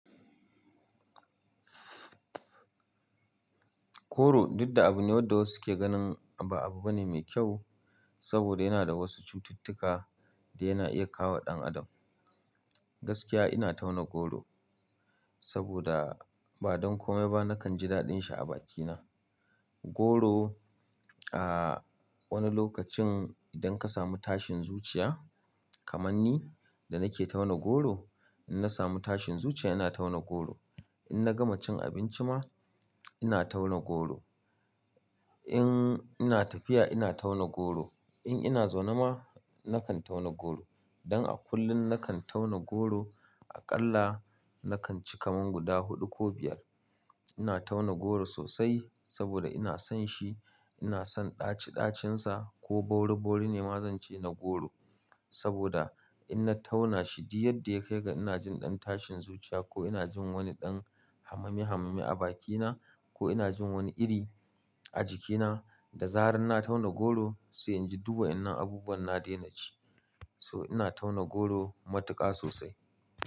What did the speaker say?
Koro, duk da abu ne wanda wasu suke ganin ba abu bane mai kyau saboda yana da wasu cututtuka da yana iya kawo dan adam. Gaskiya ina tauna goro saboda ba don komai ba nakan ji daɗin shi a bakina. Goro, a wani lokacin idan ka samu tashin zuciya kamar ni da nake tauna goro, in na samu tashin zuciya ina tauna goro. In na gama cin abinci ma ina tauna goro. In ina tafiya ina tauna goro. In ina zaune ma nakan tauna goro. Don a kullum nakan tauna goro aƙalla nakan ci kaman guda huɗu ko biyar. Ina tauna goro sosai saboda ina son shi, ina son ɗaci-ɗacinsa ko bauri-bauri ne ma zance na goro saboda in na tauna shi di yadda ya kai ga ina jin ɗan tashin zuciya ko ina jin wani ɗan hamami-hamami a bakina ko ina jin wani iri a jikina da zarar na tauna goro sai inji du wa inan abubuwan na daina ji. So ina tauna goro matuƙa sosai.